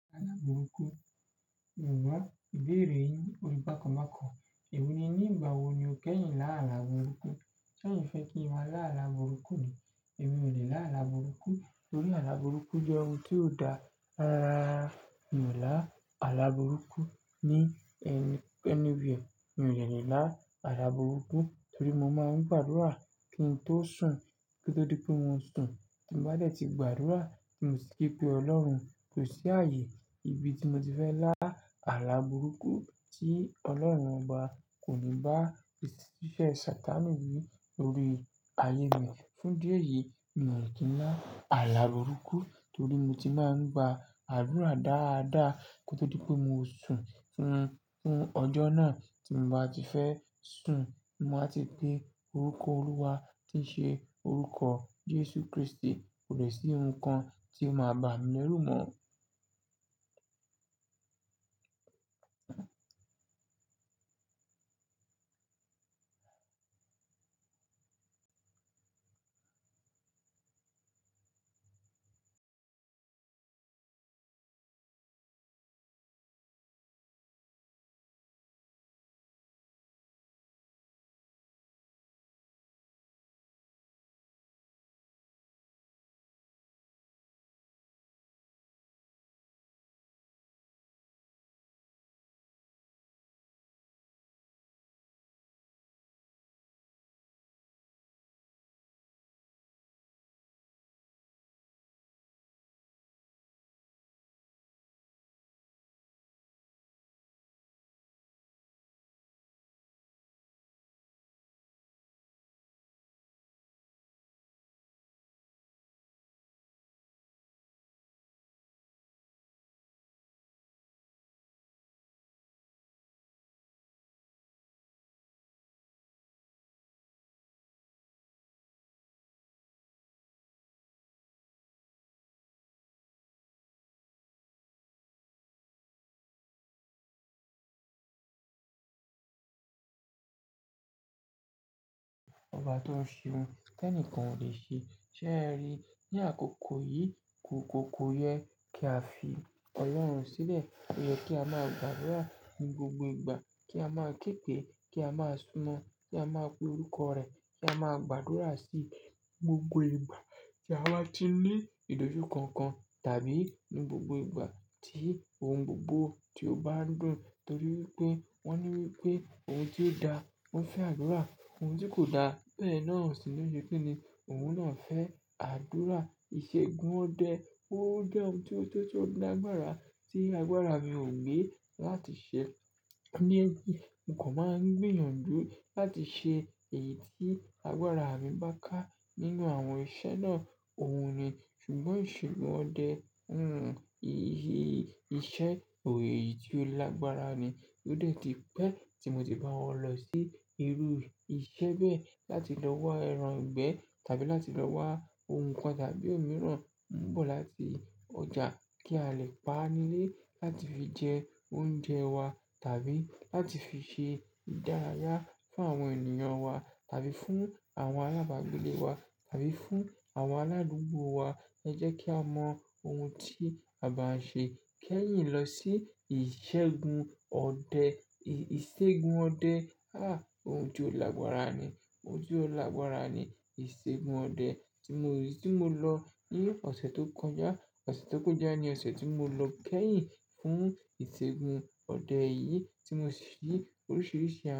Àlá burúkú, mi o mọ̀, ìbéèrè yìn, ó rí bákan bákàn. Ẹ̀mí ni, nígbà wo ni o kẹ́yìn láàlá burúkú? Láàlá burúkú ni, ẹ̀mí ò lè láàlá burúkú torí àlá burúkú jẹ́ ohun tí ó da. Rara rara, mi ò lá àlá burúkú ní anywhere. Mi ò lè lá àlá burúkú torí mo máa ń gbàdúrà kí n tó sùn kí ó tó di pé mo sùn. Tí mo bá de ti gbàdúrà tí mo ti kepé Ọlọ́run, koṣí ààyè ibi tí mo ti fẹ́ lá àlá burúkú tí Ọlọ́run ọba kò ní bá iṣẹ́ Satanu wii lórí ayé mi. Fún idi eyìí, mi ò lè kí lá àlá burúkú torí mo ti máa ń gba àdúrà dáadáa kí ó tó di pé mo sùn. Fún, fún ọjọ́ náà tí mo bá ti fẹ́ sùn, mo báa ti pe orúkọ Olúwa tí ṣe orúkọ Jesu Kristi, kò lè sí ohun kan tí ó máa ba mi lérù mọ́. Ọba tó ń ṣe ohun tẹ́ní kan ò lè ṣe. Ṣé ẹ ri? Ni àkókò yìí ko ko ko yẹ kí a fi Ọlọ́run sílẹ̀. O yẹ kí a máa gbàdúrà ní gbogbo ìgbà, kí a máa képe, kí a máa súnmọ́, kí a máa pe orúkọ rẹ̀, kí a máa gbàdúrà sí gbogbo ìgbà tí a bá ti ní ìdójúko kan tàbí ní gbogbo ìgbà tí ohun gbogbo ti o bá dùn. Torí wípé wón ní wípé ohun tí ó da ó ń fẹ́ àdúrà, ohun tí kò da bẹ́ẹ̀ náà sì ni o se kini, òun náà ń fẹ́ àdúrà. Ìṣègùn ọdẹ, ó jẹ́ ohun tí ó tó mi ní agbára tí agbára mi ò gbe láti ṣe. Ní ẹbí, nǹkan máa ń gbìyànjú láti ṣe èyí tí agbára mi bá ká nínú àwọn iṣẹ́ náà, òun ni. Ṣùgbọ́n ìṣègùn ọdẹ, hmm, iṣẹ́ òye yìí tí ó lágbára ni. Ó de tí pé tí mo ti bá wọ́n lọ sí irú iṣẹ́ bẹ́ẹ̀ láti lọ wá ẹran ìgbẹ́ tàbí láti lọ wá ohun kan tàbí òmíràn ń bọ̀ láti ọjà kí a lè pa nílé láti fi jẹ oúnjẹ wa tàbí láti fi ṣe ìdárayá fún àwọn ènìyàn wa tàbí fún àwọn alábàágbélé wa tàbí fún àwọn aládùúgbò wa. Ẹ jẹ́ kí a mọ ohun tí a bá ń ṣe kẹ́yìn lọ sí ìṣègùn ọdẹ. Ìṣègùn ọdẹ, ah! Ohun tí ó lágbára ni. Ohun tí ó lágbára ni ìṣègùn ọdẹ tí mo, eyi tí mo lọ ní ọ̀sẹ̀ tó kọjá. Ọ̀sẹ̀ tó kọjá ni ọ̀sẹ̀ tí mo lọ kẹ́yìn fún ìṣègùn ọdẹ yìí tí mo ṣe oríṣìíríṣìí.